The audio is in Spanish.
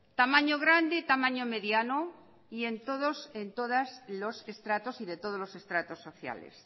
tamaño grande y tamaño mediano y de todos los estratos sociales